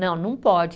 Não, não pode.